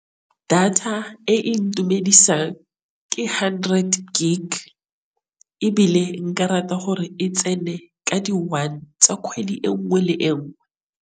Data e intumedisa ke hundred gig, ebile nka rata gore e tsene ka di one tsa kgwedi engwe le engwe.